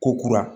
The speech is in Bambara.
Ko kura